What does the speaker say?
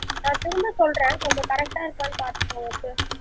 sir திரும்ப சொல்றேன் கொஞ்சம் correct டா இருக்கான்னு பாத்து சொல்லுங்க sir